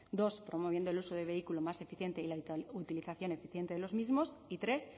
dos promoviendo el uso del vehículo más eficiente y la utilización eficiente de los mismos y tres